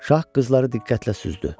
Şah qızları diqqətlə süzdü.